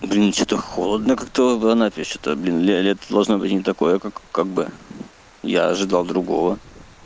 блин что-то холодно как-то в анапе что-то блин лето должно быть не такое как бы я ожидал другого